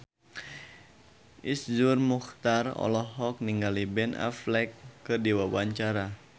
Iszur Muchtar olohok ningali Ben Affleck keur diwawancara